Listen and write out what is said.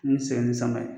N sɛgɛn ni sama ye